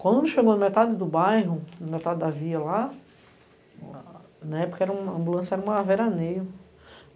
Quando chegou na metade do bairro, na metade da via lá, na época a ambulância era uma veraneio.